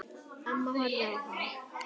Amma horfði á hana.